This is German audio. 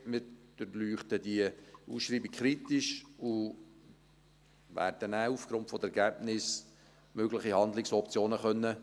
Wir durchleuchten diese Ausschreibung kritisch und werden danach aufgrund der Ergebnisse mögliche Handlungsoptionen aufzeigen können.